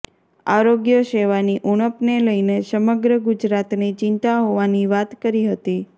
આરોગ્ય સેવાની ઉણપને લઈને સમગ્ર ગુજરાતને ચિંતા હોવાની વાત કરી હતી